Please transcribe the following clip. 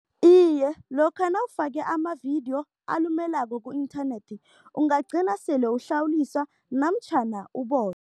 Iye, lokha nawufake amavidiyo alumelako ku-internet ungagcina sele uhlawuliswa namtjhana